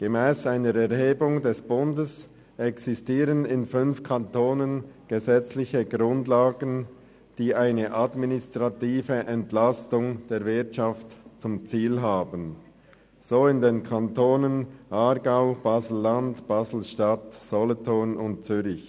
Gemäss einer Erhebung des Bundes existieren in fünf Kantonen gesetzliche Grundlagen, die eine administrative Entlastung der Wirtschaft zum Ziel haben, so in den Kantonen Aargau, Basel-Landschaft, BaselStadt, Solothurn und Zürich.